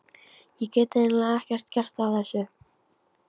Ég get eiginlega ekkert gert að þessu.